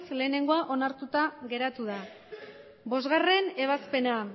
batgarrena onartuta geratu da bostgarrena ebazpena